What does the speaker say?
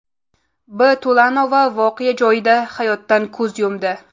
B. To‘lanova voqea joyida hayotdan ko‘z yumdi.